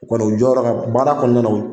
U kɔni u jɔyɔrɔ ka, baara kɔnɔna na